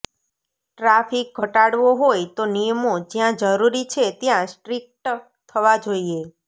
traffic ઘટાડવો હોય તો નિયમો જ્યાં જરૂરી છે ત્યાં સ્ટ્રિક્ટ થવા જોઈએ